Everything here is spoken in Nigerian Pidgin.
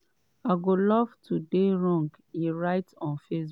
"i go love to dey wrong" e write on facebook.